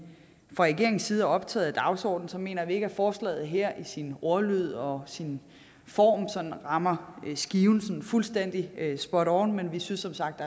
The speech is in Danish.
fra regeringens side er optaget af dagsordenen mener vi ikke at forslaget her i sin ordlyd og sin form rammer skiven sådan fuldstændig spot on men vi synes som sagt